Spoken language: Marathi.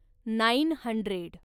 nine hundred